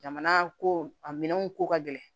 Jamana ko a minɛnw ko ka gɛlɛn